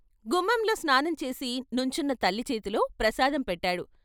గుమ్మంలో స్నానం చేసి నుంచున్న తల్లి చేతిలో ప్రసాదం పెట్టాడు.